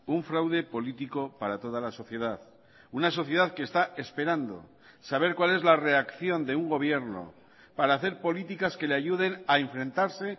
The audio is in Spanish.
un fraude político para toda la sociedad una sociedad que está esperando saber cuál es la reacción de un gobierno para hacer políticas que le ayuden a enfrentarse